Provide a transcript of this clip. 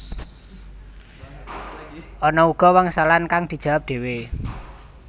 Ana uga wangsalan kang dijawab dhéwé